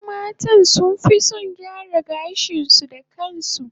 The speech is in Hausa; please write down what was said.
Wasu matan sunfi son su gyara gashin su